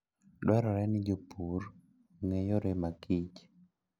Dwarore ni jopur ong'e yore makich